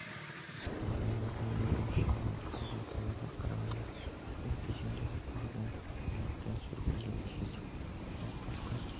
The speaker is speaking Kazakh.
жағдайларда бір мүшені ауыстыру оталарына қарағанда бұл кезеңде отаға дайындық аса мұқият жүргізілуі тиіс науқасқа